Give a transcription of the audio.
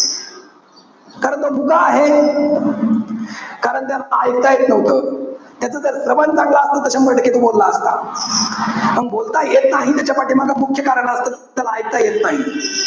कारण तो मुका आहे. कारण त्याला एकता येत नव्हतं. त्याच जर श्रवण चांगलं असतं तर शंभर टक्के तो बोलला असता. मंग बोलता येत नाही. त्याच्यापाठीमागं मुख्य कारण असतं. त्याला एकता येत नाही